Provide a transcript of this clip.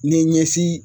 Ni ɲɛsin